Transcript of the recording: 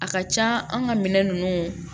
A ka ca an ka minɛn ninnu